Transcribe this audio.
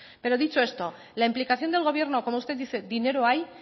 pero dicho esto la implicación del gobierno como usted dice dinero hay